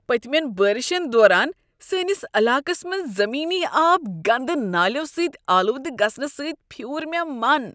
پتِمین بٲرِشن دوران سٲنس علاقس منٛز زمینی آب گندٕ نالیو سۭتۍ آلودٕ گژھنہٕ سٕتۍ پھیور مےٚ من ۔